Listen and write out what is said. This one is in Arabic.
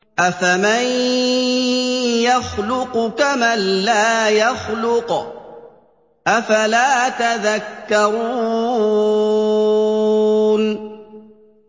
أَفَمَن يَخْلُقُ كَمَن لَّا يَخْلُقُ ۗ أَفَلَا تَذَكَّرُونَ